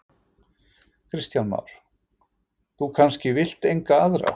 Kristján Már: Þú kannski vilt enga aðra?